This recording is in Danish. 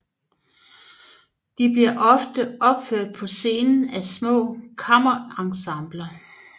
De bliver ofte opført på scenen af små kammerensembler